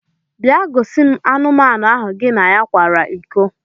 Bia gosim anụmanu ahụ gi na kwara iko!